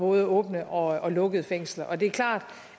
både åbne og lukkede fængsler det er klart